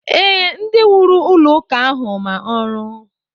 Ee, ndị wuru ụlọụka ahụ ma ọrụ